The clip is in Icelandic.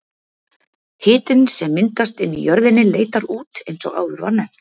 Hitinn sem myndast inni í jörðinni leitar út eins og áður var nefnt.